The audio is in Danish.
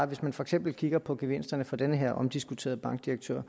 hvis man for eksempel kigger på gevinsterne for den her omdiskuterede bankdirektør